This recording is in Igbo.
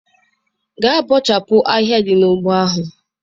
Gaa bọchapụ ahịhịa dị n'ugbo ahụ!